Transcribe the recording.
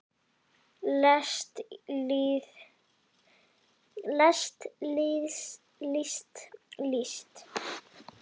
lest list líst